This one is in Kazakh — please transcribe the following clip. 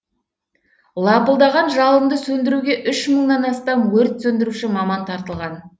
лапылдаған жалынды сөндіруге үш мыңнан астам өрт сөндіруші маман тартылған